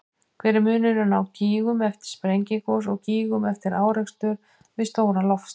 Hver er munurinn á gígum eftir sprengigos og gígum eftir árekstur við stóran loftstein?